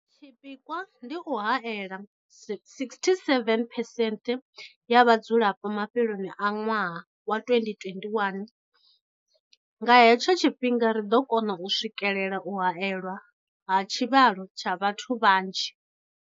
Tshipikwa ndi u haela 67 phesenthe ya vhadzulapo mafheloni a ṅwaha wa 2021. Nga hetsho tshifhinga ri ḓo kona u swikelela u haelwa ha tshivhalo tsha vhathu vha nzhi.